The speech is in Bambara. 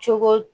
Cogo